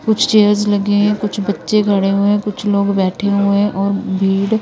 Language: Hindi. कुछ चेयर्स लगे हैं कुछ बच्चे खड़े हुए हैं कुछ लोग बैठे हुए हैं और भीड़--